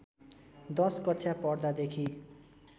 १० कक्षा पढ्दादेखि